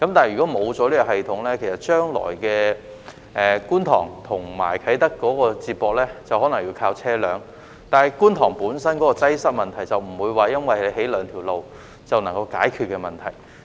如果沒有這個系統，將來觀塘與啟德便可能要依靠車輛接駁，但觀塘本身的交通擠塞問題，並不會因為興建了兩條道路便可以解決。